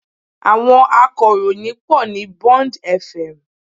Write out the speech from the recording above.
Àwọn akọ̀ròyìn pọ̀ ní Bond FM